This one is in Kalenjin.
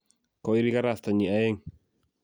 koiri karastanyi aeng